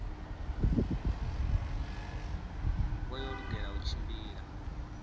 vha yo lugela u tshimbila